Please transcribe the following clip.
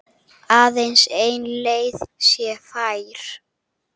Aðeins ein leið sé fær.